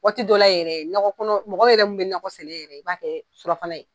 Waati dɔ la yɛrɛ nɔgɔ kɔnɔ mɔgɔ yɛrɛ mun be nakɔ sɛnɛ yɛrɛ, i b'a kɛ surafana ye.